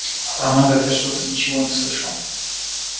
а про магов я что-то ничего не слышал